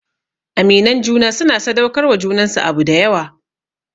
Aminan juna suna sadaukar wa junansu abu dayawa